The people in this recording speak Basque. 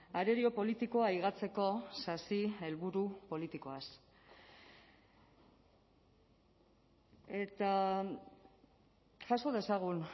arerio politikoa higatzeko sasi helburu politikoaz eta jaso dezagun